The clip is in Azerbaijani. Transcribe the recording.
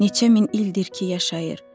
Neçə min ildir ki, yaşayır.